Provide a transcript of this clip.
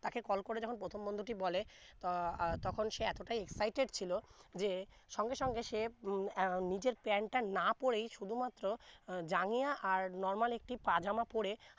তাকে কল করে যখন প্রথম বন্ধু টি বলে তো আহ তখন সে এতো টা excited ছিলো যে সঙ্গে সঙ্গে সে উম আহ নিজের প্যান্ট টা না পরেই শুধু মাত্র আহ জাংগিয়া আর normal একটি পাজমা পরে